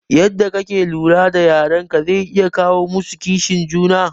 Yadda kake lura da yaran ka zai iya kawo musu kishin juna